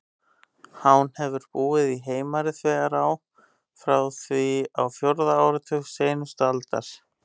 Hán hefur búið í Heimari-þverá frá því á fjórða áratug seinustu aldar.